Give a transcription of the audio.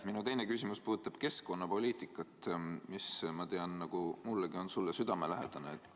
Minu teine küsimus puudutab keskkonnapoliitikat, mis sulle, ma tean, on nagu mullegi südamelähedane.